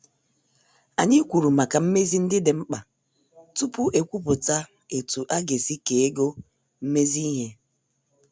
Anyị kwuru maka mmezi ndị dị mkpa tupu ekwupụta etu aga- esi kee ego mmezi ihe.